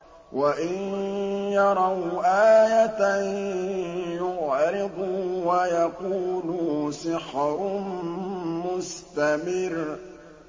وَإِن يَرَوْا آيَةً يُعْرِضُوا وَيَقُولُوا سِحْرٌ مُّسْتَمِرٌّ